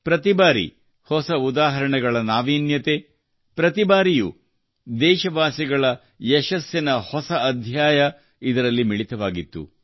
ಪ್ರತಿ ಬಾರಿ ಹೊಸ ಉದಾಹರಣೆಗಳ ನಾವೀಣ್ಯತೆ ಪ್ರತಿ ಬಾರಿಯೂ ದೇಶವಾಸಿಗಳ ಯಶಸ್ಸಿನ ಹೊಸ ಅಧ್ಯಾಯ ಇದರಲ್ಲಿ ಮಿಳಿತವಾಗಿತ್ತು